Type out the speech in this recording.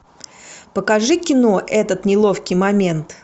покажи кино этот неловкий момент